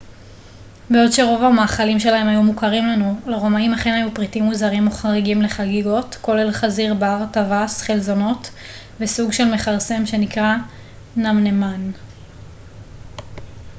בעוד שרוב המאכלים שלהם היו מוכרים לנו לרומאים אכן היו פריטים מוזרים או חריגים לחגיגות כולל חזיר בר טווס חלזונות וסוג של מכרסם שנקרא נמנמן